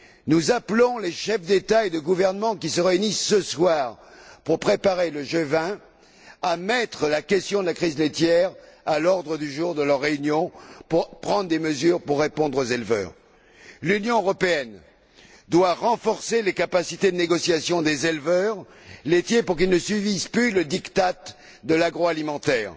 Nous appelons les chefs d'État et de gouvernement qui se réunissent ce soir pour préparer le G20 à mettre la question de la crise laitière à l'ordre du jour de leur réunion pour prendre des mesures propres à répondre aux éleveurs. L'Union européenne doit renforcer les capacités de négociation des éleveurs laitiers pour qu'ils ne subissent plus le diktat de l'agroalimentaire.